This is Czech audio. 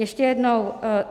Ještě jednou.